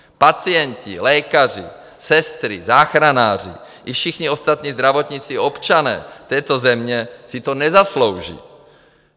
Pacienti, lékaři, sestry, záchranáři i všichni ostatní zdravotníci, občané této země si to nezaslouží.